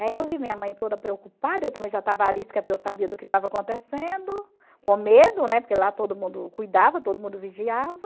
Aí eu vi minha mãe toda preocupada, eu também já estava arisca porque eu sabia do que estava acontecendo, com medo, né, porque lá todo mundo cuidava, todo mundo vigiava,